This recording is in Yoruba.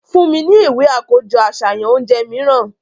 Fun mi ni iwe akojọ aṣayan ounjẹ miiran!